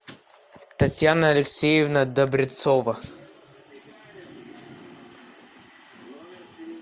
татьяна алексеевна добрецова